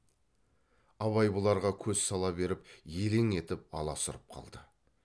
абай бұларға көз сала беріп елең етіп аласұрып қалды